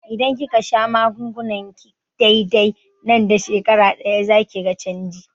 Idan kika sha magungunanki dai-dai, nan da shekara ɗaya zakiga canji